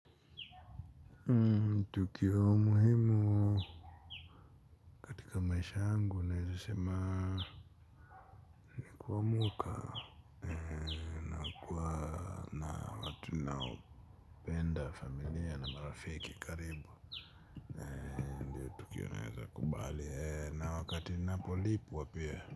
Tukio muhimu katika maisha yangu naweza sema ni kumwoka. Naopenda familia na marafiki karibu. Tukio naweza kubali na wakati napo lipwa pia.